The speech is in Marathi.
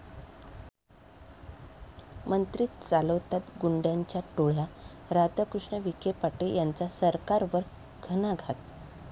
मंत्रीच चालवतात गुंड्यांच्या टोळ्या, राधाकृष्ण विखे पाटील यांचा सरकारवर घणाघात!